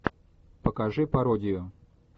покажи пародию